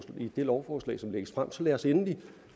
i det lovforslag som lægges frem så lad os endelig